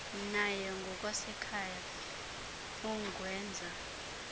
naye ngokwasekhaya ungenza